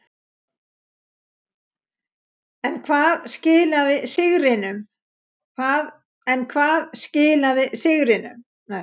En hvað skilaði sigrinum.